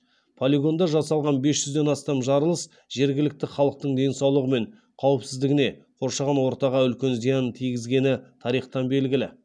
полигонда жасалған бес жүзден астам жарылыс жергілікті халықтың денсаулығы мен қауіпсіздігіне қоршаған ортаға үлкен зиянын тигізгені тарихтан белгілі